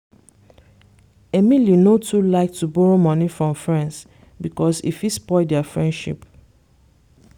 emily no too like to borrow money from friends because e fit spoil their friendship.